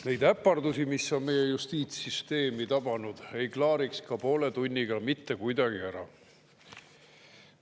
Neid äpardusi, mis on meie justiitssüsteemi tabanud, ei klaariks ka poole tunniga mitte kuidagi ära.